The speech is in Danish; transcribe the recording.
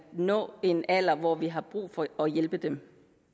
nå en alder hvor vi har brug for at hjælpe dem